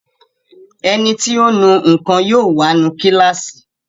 Ẹniti ó nu nǹkan yóò wá nu kíláàsì